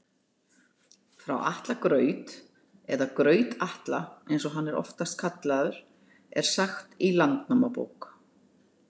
Frá Atla graut, eða Graut-Atla eins og hann er oftast kallaður, er sagt í Landnámabók.